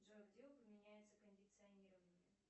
джой где упоминается кондиционирование